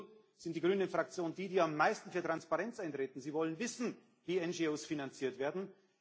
Hier in Brüssel ist die grüne Fraktion die, die am meisten für Transparenz eintritt. Sie wollen wissen, wie NGO finanziert